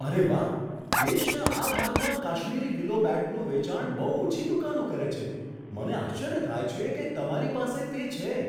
અરે વાહ! દેશના આ ભાગમાં કાશ્મીરી વિલો બેટનું વેચાણ બહુ ઓછી દુકાનો કરે છે. મને આશ્ચર્ય થાય છે કે તમારી પાસે તે છે.